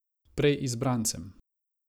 Prej izbrancem.